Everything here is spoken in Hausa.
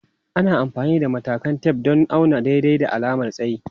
Ana amfani da matakan tef don auna daidai da alamar tsayi.